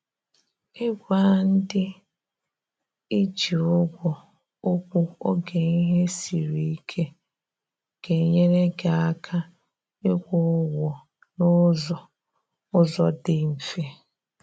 i gwa ndị ị ji ụgwọ okwu oge ihe siri ike ga enyere gị aka ị kwụ ụgwọ na ụzọ ụzọ dị mfe